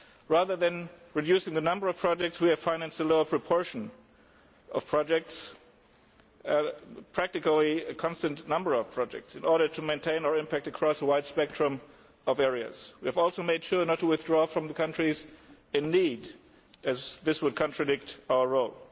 Rather than reducing the number of projects, we have financed a lower proportion of projects and in practice a constant number of projects in order to maintain our impact across a wide spectrum of areas. We have also made sure not to withdraw from countries in need, as that would contradict our role.